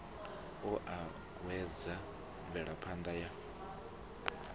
a o uuwedza mvelaphana ya